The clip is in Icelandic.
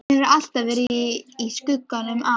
Hann hefur alltaf verið í skugganum af